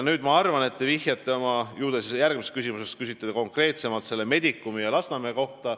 Ma arvan, et te vihjasite – ju te järgmises küsimuses küsite konkreetsemalt – Medicumile ja Lasnamäele.